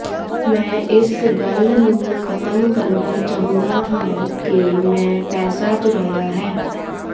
ਮੈਂ ਇਸ ਗੱਲ ਨੂੰ ਖਤਮ ਕਰਨਾ ਚਾਹੁੰਦਾ ਹਾਂ ਕਿ ਮੈਂ ਪੈਸਾ ਚੁਰਾਇਆ ਹੈ